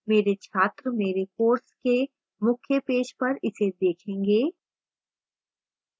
मेरे छात्र मेरे course के मुख्य पेज पर इसे देखेंगे